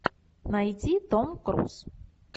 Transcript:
найди том круз